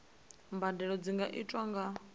mbadelo dzi nga itwa nga